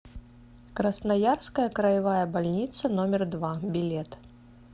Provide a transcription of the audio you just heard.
красноярская краевая больница номер два билет